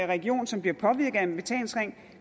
region som bliver påvirket af en betalingsring